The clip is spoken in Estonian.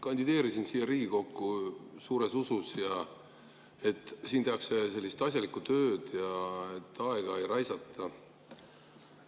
Kandideerisin siia Riigikokku usus, et siin tehakse asjalikku tööd ja aega ei raisata.